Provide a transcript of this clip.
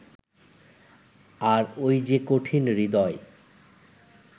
আর ওই যে কঠিন-হৃদয়